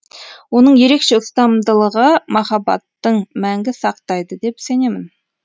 оның ерекше ұстамдылығы махаббатың мәңгі сақтайды деп сенемін